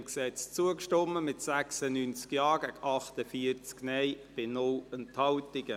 Sie haben der Gesetzesänderung zugestimmt, mit 96 Ja- gegen 48 Nein-Stimmen bei 0 Enthaltungen.